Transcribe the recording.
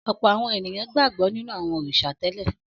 Ọ̀pọ̀ àwọn ènìyàn gbàgbọ́ nínú àwọn òrìṣà tẹ́lẹ̀.